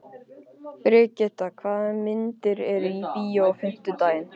Brigitta, hvaða myndir eru í bíó á fimmtudaginn?